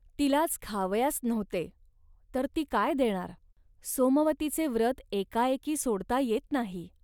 तिलाच खावयास नव्हते, तर ती काय देणार. सोमवतीचे व्रत एकाएकी सोडता येत नाही